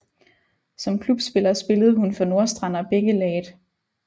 Som klubspiller spillede hun for Nordstrand og Bækkelaget